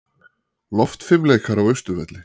Loftfimleikar á Austurvelli